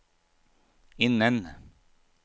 innen